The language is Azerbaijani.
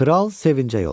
Kral sevincə yoldu.